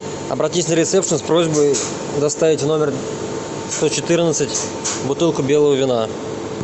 обратись на ресепшн с просьбой доставить в номер сто четырнадцать бутылку белого вина